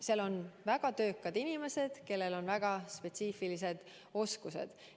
Sealgi on väga töökad inimesed, kellel on väga spetsiifilised oskused.